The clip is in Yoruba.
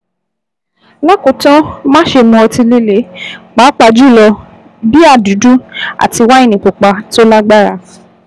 Lákòótán, máṣe mu ọtí líle, pàápàá jùlọ bíà dúdú àti wáìnì pupa tó lágbára